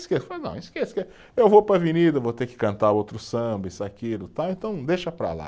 Não, esqueça, que eu vou para a avenida, vou ter que cantar outro samba, isso, aquilo, tal, então deixa para lá.